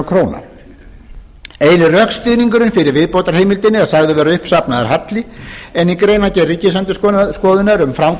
króna eini rökstuðningurinn fyrir viðbótarheimildinni er sagður vera uppsafnaður halli en í greinargerð ríkisendurskoðunar um